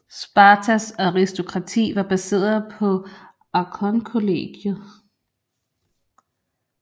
Spartas Aristokrati var baseret på archontkollegiet